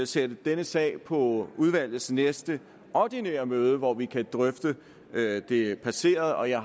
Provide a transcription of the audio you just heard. sætte denne sag på udvalgets næste ordinære møde hvor vi kan drøfte det passerede og jeg